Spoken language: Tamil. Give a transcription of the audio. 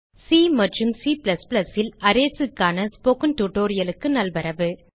சி மற்றும் C ல் Arraysக்கான ஸ்போக்கன் டியூட்டோரியல் க்கு நல்வரவு